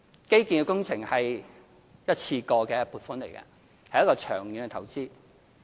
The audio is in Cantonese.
基建工程是一次過的撥款，是長遠的投資。